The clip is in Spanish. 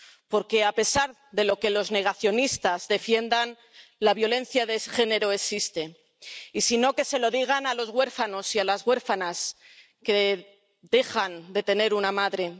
Porque, a pesar de lo que los negacionistas defiendan, la violencia de género existe y, si no, que se lo digan a los huérfanos y a las huérfanas que dejan de tener una madre